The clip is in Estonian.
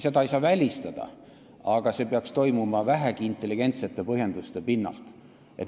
Seda ei saa välistada, aga see peaks toimuma vähegi intelligentsete põhjenduste pinnalt.